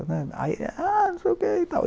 Ah, aí é não sei o quê e tal.